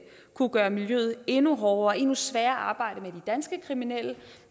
kunne gøre miljøet endnu hårdere og endnu sværere at arbejde med de danske kriminelle i